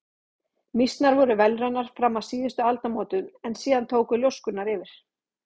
Mýsnar voru vélrænar fram að síðustu aldamótum en síðan tóku ljóskurnar yfir.